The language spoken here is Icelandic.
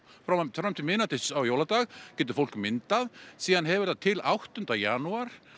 fram til miðnættis á jóladag getur fólk myndað síðan hefur það til áttunda janúar